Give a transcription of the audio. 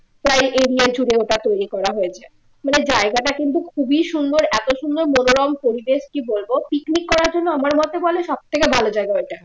প্রায় area জুড়ে ওটা তৈরি করা হয়েছে মানে জায়গাটা কিন্তু খুবই সুন্দর এত সুন্দর মনোরম পরিবেশ কি বলবো picnic করার জন্য আমার মতে বলে সব থেকে ভালো জায়গা ওইটা